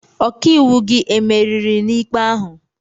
Ọkaiwu gị emeriri n' ikpe ahụ?